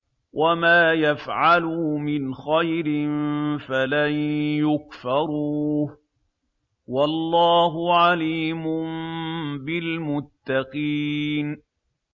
وَمَا يَفْعَلُوا مِنْ خَيْرٍ فَلَن يُكْفَرُوهُ ۗ وَاللَّهُ عَلِيمٌ بِالْمُتَّقِينَ